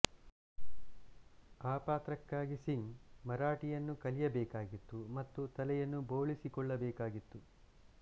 ಆ ಪಾತ್ರಕ್ಕಾಗಿ ಸಿಂಗ್ ಮರಾಠಿಯನ್ನು ಕಲಿಯಬೇಕಾಗಿತ್ತು ಮತ್ತು ತಲೆಯನ್ನು ಬೋಳಿಸಿಕೊಳ್ಳಬೇಕಾಗಿತ್ತು